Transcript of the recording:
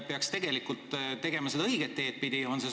Peaks tegelikult ikka seda õiget teed pidi minema.